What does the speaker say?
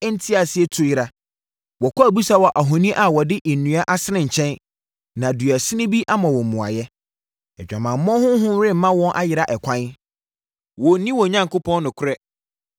nteaseɛ tu yera. Wɔkɔ abisa wɔ ahoni a wɔde nnua asene nkyɛn na duasin bi ama wɔn mmuaeɛ. Adwamammɔ honhom rema wɔn ayera ɛkwan; wɔnni wɔn Onyankopɔn nokorɛ.